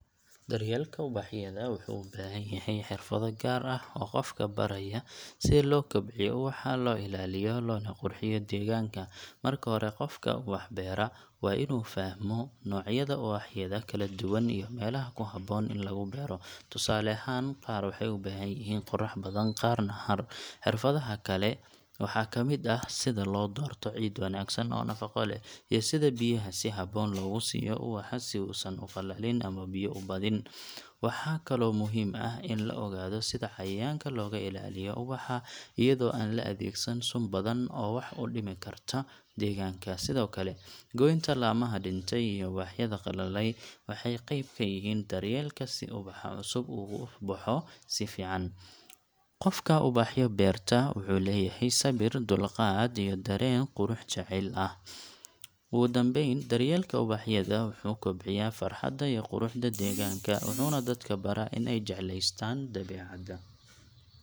Daryeelka ubaxyada wuxuu u baahan yahay xirfado gaar ah oo qofka baraya sida loo kobciyo ubaxa, loo ilaaliyo, loona qurxiyo deegaanka. Marka hore, qofka ubax beera waa inuu fahmo noocyada ubaxyada kala duwan iyo meelaha ku habboon in lagu beero. Tusaale ahaan, qaar waxay u baahan yihiin qorrax badan, qaarna hadh. Xirfadaha kale waxaa ka mid ah sida loo doorto ciid wanaagsan oo nafaqo leh, iyo sida biyaha si habboon loogu siiyo ubaxa si uusan u qalalin ama biyo u badin. Waxaa kaloo muhiim ah in la ogaado sida cayayaanka looga ilaaliyo ubaxa iyadoo aan la adeegsan sun badan oo wax u dhimi karta deegaanka. Sidoo kale, goynta laamaha dhintay iyo ubaxyada qallalay waxay qeyb ka yihiin daryeelka si ubaxa cusub uu u baxo si fiican. Qofka ubaxyo beerta wuxuu leeyahay sabir, dulqaad, iyo dareen qurux jecel ah. Ugu dambeyn, daryeelka ubaxyada wuxuu kobciyaa farxadda iyo quruxda deegaanka, wuxuuna dadka baraa in ay jecleystaan dabeecadda.